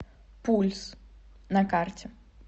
пульс на карте